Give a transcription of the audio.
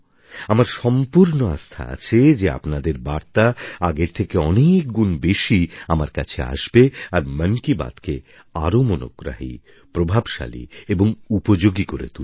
আমার সম্পূর্ণ আস্থা আছে যে আপনাদের বার্তা আগের থেকে অনেকগুণ বেশি আমার কাছে আসবে আর মন কি বাতকে আরও মনোগ্রাহী প্রভাবশালী এবং উপযোগী করে তুলবে